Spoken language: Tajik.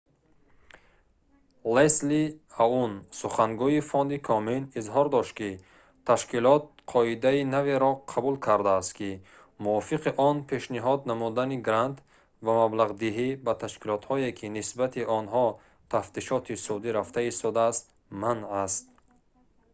лесли аун сухангӯи фонди комен изҳор дошт ки ташкилот қоидаи наверо қабул кардааст ки мувофиқи он пешниҳод намудани грант ва маблағдиҳӣ ба ташкилотҳое ки нисбати онҳо тафтишоти судӣ рафта истодааст манъ аст